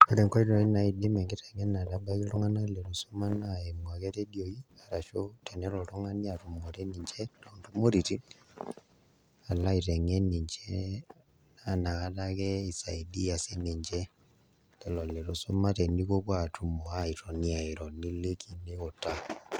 Ore nkoitoi naidim enkiteng'enare atabaiki iltung'anak litu isuma naa eimu ake iredioi ashu tenelo oltung'ani atumore ninche toontumoreitin alo aiteng'en ninche naa ina kata ake isaidia sininche lelo litu iisuma tenipuopuo aatumo aatoni airo niliki niutaa.